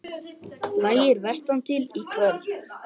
Lægir vestantil Í kvöld